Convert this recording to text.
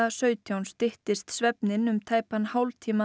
sautján styttist svefninn um tæpan hálftíma